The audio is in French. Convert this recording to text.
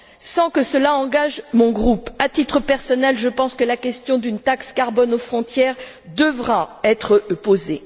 Sans que cela engage mon groupe, à titre personnel, je pense que la question d'une taxe carbone aux frontières devra être posée.